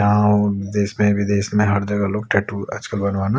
और देश मे विदेश मे हर जगह लोग टेटू आज कल बनवाना--